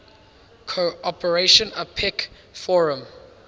cooperation apec forum